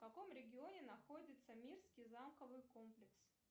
в каком регионе находится мирский замковый комплекс